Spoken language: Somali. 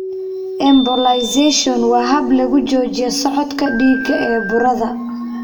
Embolisation waa hab lagu joojiyo socodka dhiigga ee burada.